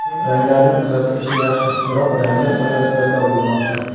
Ranglarning uzatilishi yaxshi, biroq ranglar soyasi paydo bo‘lmoqda.